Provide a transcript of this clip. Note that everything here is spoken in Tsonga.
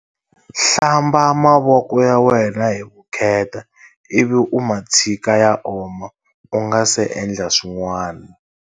Hlamba mavoko ya wena hi vukheta i vi u ma tshika ya oma u nga se endla swin'wana.